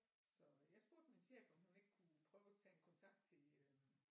Så jeg spurgte min chef om hun ikke kunne prøve at tage en kontakt til øh